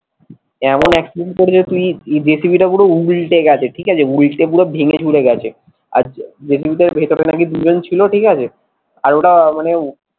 এমন accident করেছে তুই জেসিবিটা পুরো উল্টে গেছে ঠিক আছে, উল্টে পুরো ভেঙে চুরে গেছে আর জেসিবিটার ভেতরে নাকি দুজন ছিল ঠিক আছে আর ওরা মানে